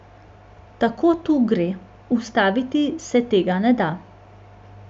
Tako to gre, ustaviti se tega ne da.